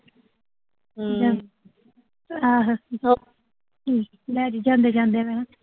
ਆਹੋ ਲੈ ਜੋ ਜਾਂਦੇ